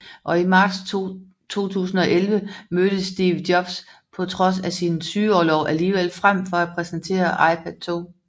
Og i marts 2011 mødte Steve Jobs på trods af sin sygeorlov alligevel frem for at præsentere iPad 2